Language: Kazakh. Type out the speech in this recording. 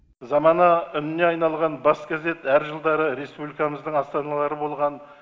замана үніне айналған бас газет әр жылдары республикамыздың астаналары болған